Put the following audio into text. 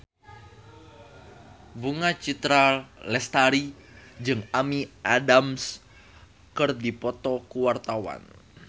Bunga Citra Lestari jeung Amy Adams keur dipoto ku wartawan